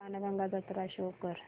बाणगंगा जत्रा शो कर